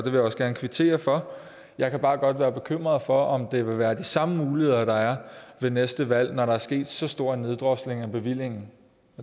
jeg også gerne kvittere for jeg kan bare godt være bekymret for om det vil være de samme muligheder der er ved næste valg når der er sket så stor en neddrosling af bevillingen